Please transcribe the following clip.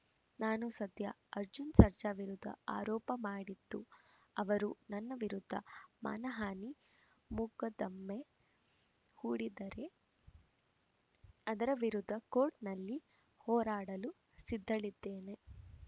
ನಾನು ಸದ್ಯ ಅರ್ಜುನ್‌ ಸರ್ಜಾ ವಿರುದ್ಧ ಆರೋಪ ಮಾಡಿದ್ದು ಅವರು ನನ್ನ ವಿರುದ್ಧ ಮಾನಹಾನಿ ಮೊಕದ್ದಮೆ ಹೂಡಿದರೆ ಅದರ ವಿರುದ್ಧ ಕೋರ್ಟಲ್ಲಿ ಹೋರಾಡಲು ಸಿದ್ಧಳಿದ್ದೇನೆ